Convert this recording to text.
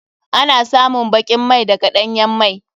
Ana samun bakin mai daga ɗanyan mai.